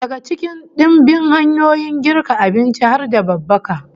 Daga cikin dimbin hanyoyin girka abinci har da babbaka